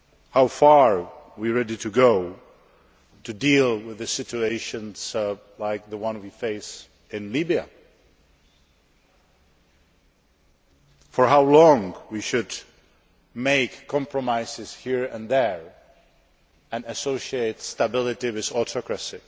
how far we are ready to go to deal with the situations like the one we face in Libya, and how long we should make compromises here and there and associate stability with autocracy,